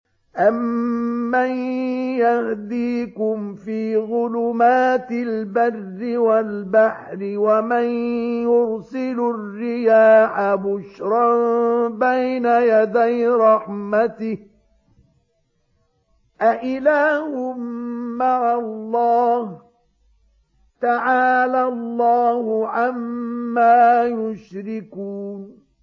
أَمَّن يَهْدِيكُمْ فِي ظُلُمَاتِ الْبَرِّ وَالْبَحْرِ وَمَن يُرْسِلُ الرِّيَاحَ بُشْرًا بَيْنَ يَدَيْ رَحْمَتِهِ ۗ أَإِلَٰهٌ مَّعَ اللَّهِ ۚ تَعَالَى اللَّهُ عَمَّا يُشْرِكُونَ